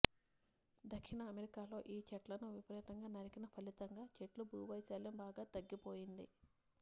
దక్షిణ అమెరికాలో ఈ చెట్లలను విపరీతంగా నరికిన ఫలితంగా చెట్ల భూవైశాల్యం బాగా తగ్గిపోయింది